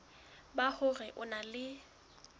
ba hore o na le